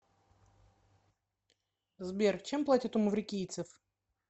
сбер чем платят у маврикийцев